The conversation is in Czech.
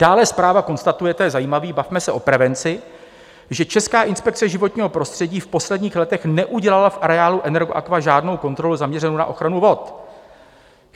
Dále zpráva konstatuje - to je zajímavé, bavme se o prevenci - že Česká inspekce životního prostředí v posledních letech neudělala v areálu Energoaqua žádnou kontrolu zaměřenou na ochranu vod.